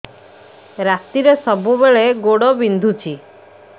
ରାତିରେ ସବୁବେଳେ ଗୋଡ ବିନ୍ଧୁଛି